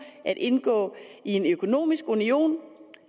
at indgå i en økonomisk union